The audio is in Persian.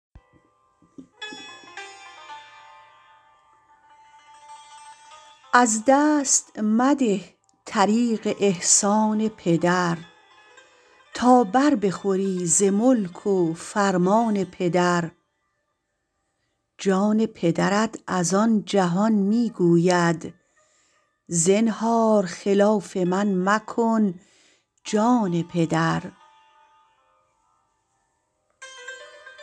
از دست مده طریق احسان پدر تا بر بخوری ز ملک و فرمان پدر جان پدرت از ان جهان می گوید زنهار خلاف من مکن جان پدر